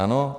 Ano.